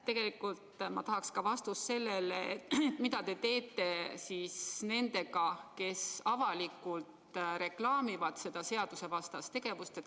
Tegelikult ma tahan vastust ka sellele, mida te teete nendega, kes avalikult reklaamivad seda seadusevastast tegevust.